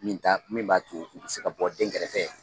Min t'a min b'a to u bɛ se ka bɔ dɛn kɛrɛfɛ.